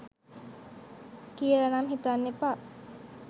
කියල නම් හිතන්න එපා.